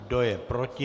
Kdo je proti?